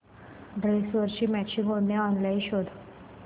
ड्रेसवरची मॅचिंग ओढणी ऑनलाइन शोध